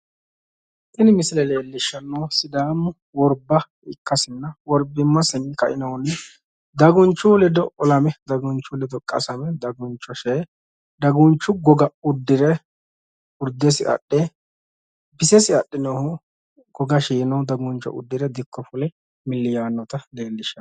Tini misile leelishanohu Sidaamu worbba ikkasinna worbimasinni ka"inohunni dagunchu ledo olame dagunchu ledo qasame daguncho shee dagunchu goga uddire urdesi adhe bisesi adhinohu goga shiino daguncho adhe dikko fule milli yaannota leelishano.